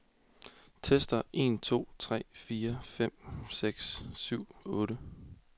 Tester en to tre fire fem seks syv otte.